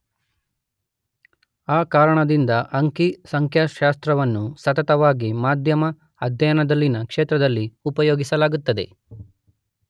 ಆ ಕಾರಣದಿಂದ ಅಂಕಿ ಸಂಖ್ಯಾಶಾಸ್ತ್ರವನ್ನು ಸತತವಾಗಿ ಮಾಧ್ಯಮ ಅಧ್ಯಯನದಲ್ಲಿನ ಕ್ಷೇತ್ರದಲ್ಲಿ ಉಪಯೋಗಿಸಲಾಗುತ್ತದೆ